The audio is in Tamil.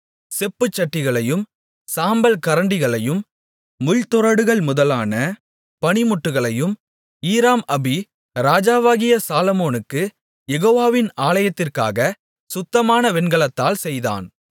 செப்புச்சட்டிகளையும் சாம்பல் கரண்டிகளையும் முள்துறடுகள் முதலான பணிமுட்டுகளையும் ஈராம் அபி ராஜாவாகிய சாலொமோனுக்குக் யெகோவாவின் ஆலயத்திற்காக சுத்தமான வெண்கலத்தால் செய்தான்